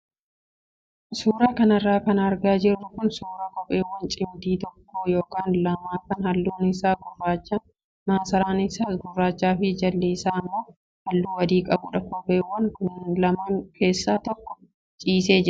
Suuraa kanarra kan argaa jirru kun suuraa kopheewwan cimdii tokko yookaan lama kan halluun isaa gurraacha maasaraan isaas gurraachaa fi jalli isaa immoo halluu adii qabudha. Kopheewwan lamaan keessaa tokko ciisee jira.